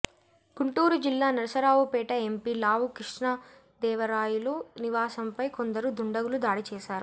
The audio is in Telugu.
గుంటూరు జిల్లా నరసరావుపేట ఎంపీ లావు కృష్ణదేవరాయలు నివాసంపై కొందరు దుండగులు దాడి చేశారు